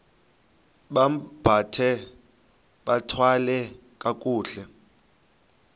bambathe bathwale kakuhle